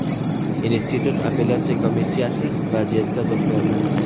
Institut apellyatsiya komissiyasi vaziyatga izoh berdi.